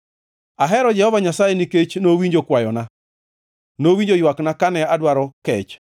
Ahero Jehova Nyasaye nikech nowinjo kwayona; nowinjo ywakna kane adwaro kech.